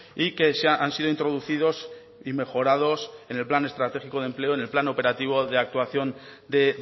y que han sido introducidos y mejorados en el plan estratégico de empleo en el plan operativo de actuación de